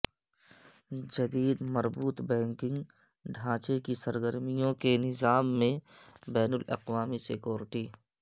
جدید مربوط بینکنگ ڈھانچے کی سرگرمیوں کے نظام میں بین الاقوامی سیکورٹی